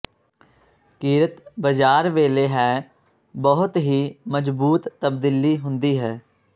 ਕਿਰਤ ਬਜ਼ਾਰ ਵੇਲੇ ਹੈ ਬਹੁਤ ਹੀ ਮਜ਼ਬੂਤ ਤਬਦੀਲੀ ਹੁੰਦੀ ਹੈ